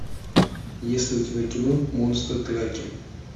есть ли у тебя кино монстр траки